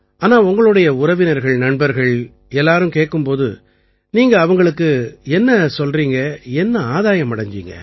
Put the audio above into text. ஆனால் உங்களுடைய உறவினர்கள் நண்பர்கள் அனைவரும் கேட்கும் போது நீங்கள் அவர்களுக்கு என்ன கூறுகிறீர்கள் என்ன ஆதாயம் அடைஞ்சீங்க